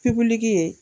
Pipiniyɛri